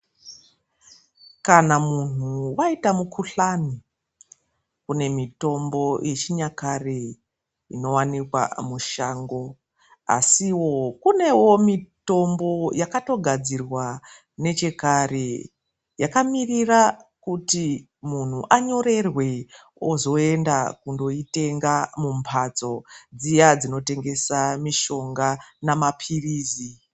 Kana muntu aita mukhuhlane, kune mitombo yechinyakare inowanikwa mushango. Asiwo kunewo mitombo yakatogadzirwa nechekare yakaemera kuti muntu anyorerwe wozoenda kundoitenga mumphatso dziya dzinotengesa mitombo namaphirizi.